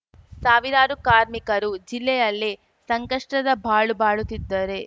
ಸಾವಿರಾರು ಕಾರ್ಮಿಕರು ಜಿಲ್ಲೆಯಲ್ಲೇ ಸಂಕಷ್ಟದ ಬಾಳು ಬಾಳುತ್ತಿದ್ದರೆ